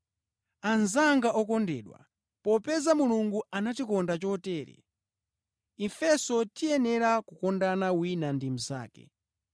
Anzanga okondedwa, popeza Mulungu anatikonda chotere, ifenso tiyenera kukondana wina ndi mnzake.